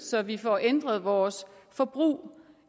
så vi får ændret vores forbrug